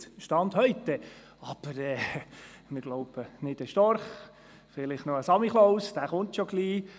Per Stand heute stimmt das, aber wir glauben nicht an den Storch, höchstens an den Samichlaus, der kommt ja schon bald.